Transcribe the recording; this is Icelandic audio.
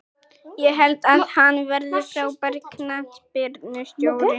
Ég held að hann verði frábær knattspyrnustjóri.